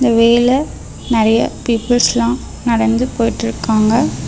இந்த வே ல நெறையா பீப்பிள்ஸ்லா நடந்து போயிட்ருக்காங்க.